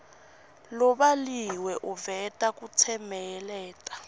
lobhaliwe uveta kutsemeleta